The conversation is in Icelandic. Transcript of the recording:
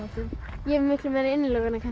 ég er með miklu meiri innilokunarkennd